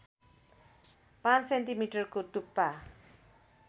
५ सेन्टिमिटरको टुप्पा